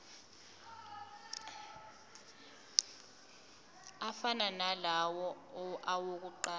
afana nalawo awokuqala